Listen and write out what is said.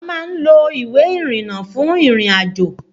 A máa ń lo ìwé ìrìnnà fún ìrìn-àjò